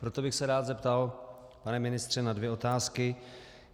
Proto bych se rád zeptal, pane ministře, na dvě otázky.